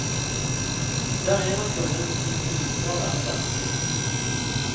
Det er en av grunnene til at jeg liker å være der.